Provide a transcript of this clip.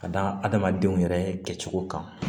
Ka da adamadenw yɛrɛ kɛcogo kan